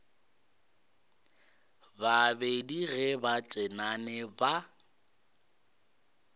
babedi ge ba tenane ba